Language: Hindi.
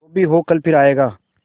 जो भी हो कल फिर आएगा